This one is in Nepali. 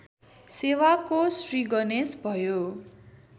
सेवाको श्रीगणेश भयो